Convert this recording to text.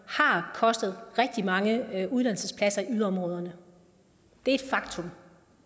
har kostet rigtig mange uddannelsespladser i yderområderne det er et faktum